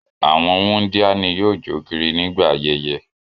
Àwọn wundia ni yóò jo kiri nigba ayẹyẹ.